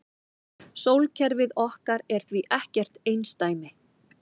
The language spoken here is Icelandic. Sólkerfið okkar er því ekkert einsdæmi.